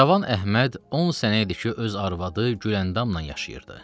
Cavan Əhməd 10 sənə idi ki, öz arvadı Güləndamla yaşayırdı.